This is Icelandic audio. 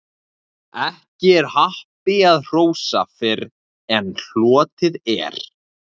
Ekki er happi að hrósa fyrr en hlotið er.